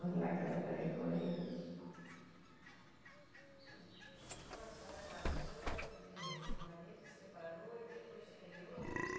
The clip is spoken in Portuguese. lá aquelas alegoria. Então a senhora casou, aí teve esse marido, separou e depois teve outro?